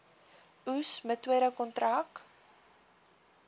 oes metode kontrak